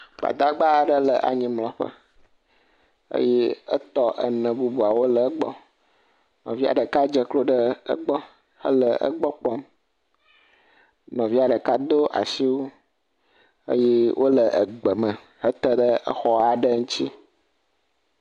Gbadagba aɖe le anyimlɔƒe, eye etɔ ene bubu aɖewo le egbɔ. Nɔvia ɖeka dze klo ɖe egbɔ hele egbɔ kpɔm. Nɔvia ɖeka do asiwui eye wole gbe me hete ɖe xɔ aɖe ŋuti.